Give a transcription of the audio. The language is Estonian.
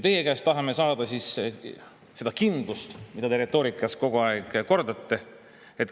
" Teie käest tahame saada seda kindlust, mida te retoorikas kogu aeg kordate.